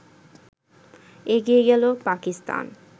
এগিয়ে গেল পাকিস্তান